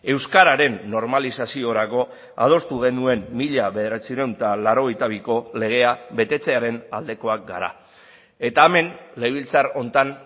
euskararen normalizaziorako adostu genuen mila bederatziehun eta laurogeita biko legea betetzearen aldekoak gara eta hemen legebiltzar honetan